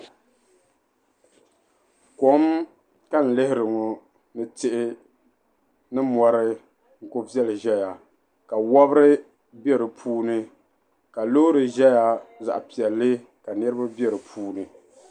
Kom ka n lihiri ŋɔ ni tihi ni mɔri kuli viɛli ʒeya ka wabiri be di puuni ka loori ʒeya zaɣ'piɛlli ka niriba be di puuni.